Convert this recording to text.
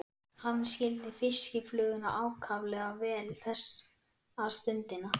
Hann skildi fiskifluguna ákaflega vel þessa stundina.